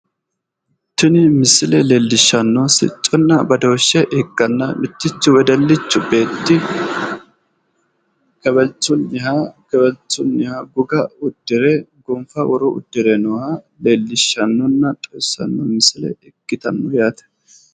tini misile leellishshanno sicconna badooshshe ikkanna mittichu wedellichu beetti kewelchunniha kewelchunniha goga uddire gonfa woroonni uddire nooha leellishshannonna xawissanno misile ikkitanno yaate.